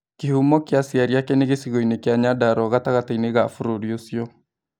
Kĩhumo kĩa aciari ake nĩ gĩcigoinĩ kĩa Nyandarua gatagatĩinĩ GA bũrũri ũcio